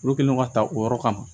Olu kɛlen don ka ta o yɔrɔ kama